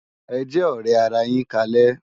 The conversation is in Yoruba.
Ejè òrè àrá yin kálè